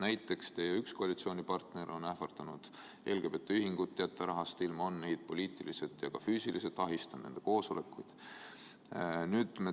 Näiteks on üks teie koalitsioonipartner ähvardanud LGBT Ühingu rahast ilma jätta, on neid poliitiliselt ja ka füüsiliselt ahistanud, nende koosolekuid.